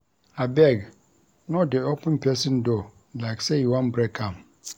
Abeg no dey open pesin door like sey you wan break am.